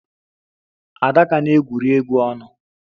Adaka na-egwuri egwu ọnụ